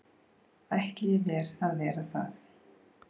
ætli ég mér að vera það.